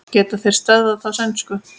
Geta þeir stöðvað þá sænsku?